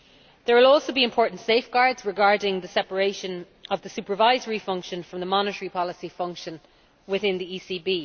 There will also be important safeguards regarding the separation of the supervisory function from the monetary policy function within the ECB.